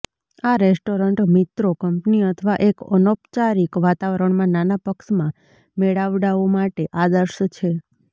આ રેસ્ટોરન્ટ મિત્રો કંપની અથવા એક અનૌપચારિક વાતાવરણમાં નાના પક્ષ માં મેળાવડાઓમાં માટે આદર્શ છે